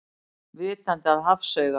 Vitandi að hafsaugað.